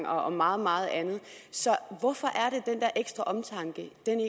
og meget meget andet så hvorfor er der ekstra omtanke ikke